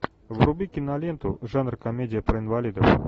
вруби киноленту жанр комедия про инвалидов